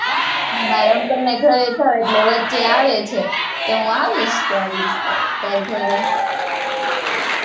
મારા uncle ના ઘરે જાઉં, એટલે વચ્ચે આવે છે, તો હું આવીશ ત્યારે તારા ઘરે,